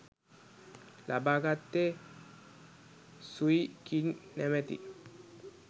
ලබාගත්තේ Sui King නමැති